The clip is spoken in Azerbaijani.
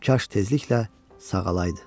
Kaş tezliklə sağalaydı.